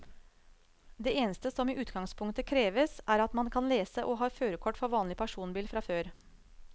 Det eneste som i utgangspunktet kreves, er at man kan lese og har førerkort for vanlig personbil fra før.